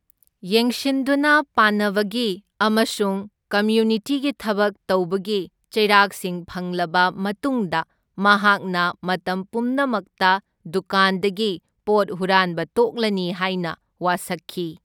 ꯌꯦꯡꯁꯤꯟꯗꯨꯅ ꯄꯥꯟꯅꯕꯒꯤ ꯑꯃꯁꯨꯡ ꯀꯝꯌꯨꯅꯤꯇꯤꯒꯤ ꯊꯕꯛ ꯇꯧꯕꯒꯤ ꯆꯩꯔꯥꯛꯁꯤꯡ ꯐꯪꯂꯕ ꯃꯇꯨꯡꯗ ꯃꯍꯥꯛꯅ ꯃꯇꯝ ꯄꯨꯝꯅꯃꯛꯇ ꯗꯨꯀꯥꯟꯗꯒꯤ ꯄꯣꯠ ꯍꯨꯔꯥꯟꯕ ꯇꯣꯛꯂꯅꯤ ꯍꯥꯏꯅ ꯋꯥꯁꯛꯈꯤ꯫